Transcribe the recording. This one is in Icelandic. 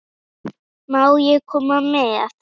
Má ég koma með?